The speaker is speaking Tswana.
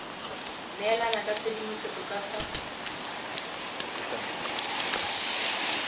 neelana ka tshedimosetso ka fa